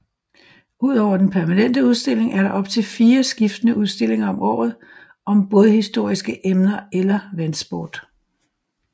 Udover den permanente udstilling er der op til fire skiftende udstillinger om året om bådhistoriske emner eller vandsport